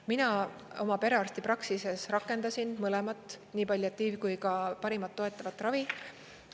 Mina oma perearstipraksises rakendasin mõlemat, nii palliatiiv- kui ka parimat toetavat ravi.